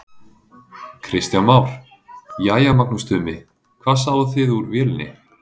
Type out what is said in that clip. Kristján Már: Jæja Magnús Tumi, hvað sáuð þið úr vélinni?